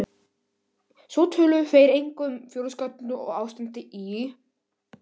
Svo töluðu þeir eitthvað um þjóðarskútuna og ástandið í